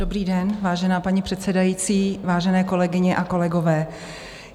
Dobrý den, vážená paní předsedající, vážené kolegyně a kolegové.